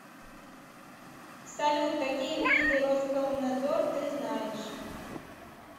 салют какие виды роскомнадзор ты знаешь